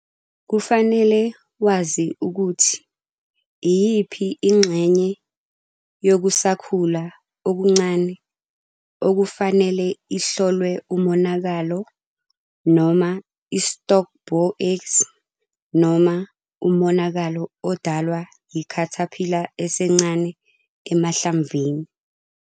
Kufanele wazi ukuthi iyiphi ingxenye yokusakhula okuncane okufanele ihlolwe umonakalo noma i-stalk bore eggs noma umonakalo odalwa yi-caterpillar esencane emahlamvini.